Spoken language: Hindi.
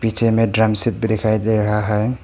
पीछे में ड्रम सेट भी दिखाई दे रहा है।